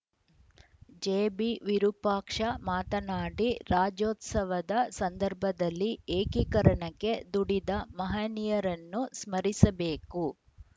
ಜೆಬಿವಿರೂಪಾಕ್ಷ ಮಾತನಾಡಿ ರಾಜ್ಯೋತ್ಸವದ ಸಂದರ್ಭದಲ್ಲಿ ಏಕೀಕರಣಕ್ಕೆ ದುಡಿದ ಮಹನೀಯರನ್ನು ಸ್ಮರಿಸಬೇಕು